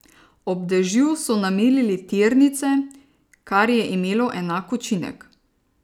Ob dežju so namilili tirnice, kar je imelo enak učinek.